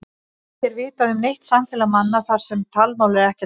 Ekki er vitað um neitt samfélag manna þar sem talmál er ekkert notað.